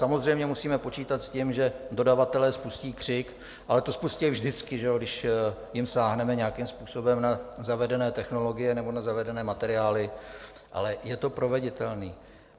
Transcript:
Samozřejmě musíme počítat s tím, že dodavatelé spustí křik, ale to spustí vždycky, když jim sáhneme nějakým způsobem na zavedené technologie nebo na zavedené materiály, ale je to proveditelné.